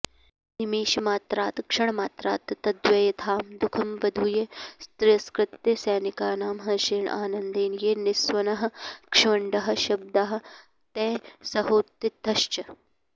निमेषमात्रात् क्षणमात्रात् तद्व्यथां दुःखमवधूय तिरस्कृत्य सैनिकानां हर्षेण आनन्देन ये निस्वनाः क्ष्वंडाः शब्दाः तैः सहोत्थितश्च